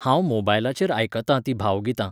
हांव मोबायलाचेर आयकतां तीं भावगितां.